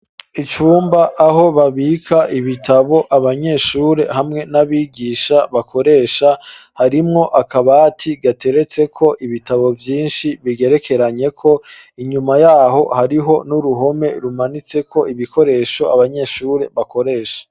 Icumba aho babika ibitabo abanyeshure hamwe n'abigisha bakoresha harimwo akabati gateretse ko ibitabo vyinshi bigerekeranye ko inyuma yaho hariho n'uruhome rumanitse ko ibikoresho abanyeshure bakoresha.